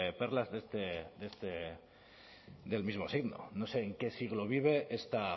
perlas del mismo signo no sé en qué siglo vive esta